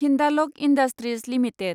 Hindalco industries limited